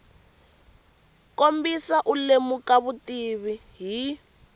kombisa u lemuka vutivi hi